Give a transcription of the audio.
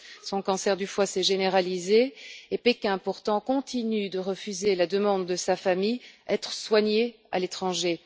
Son cancer du foie s'est généralisé et Pékin, pourtant, continue de refuser la demande de sa famille être soigné à l'étranger.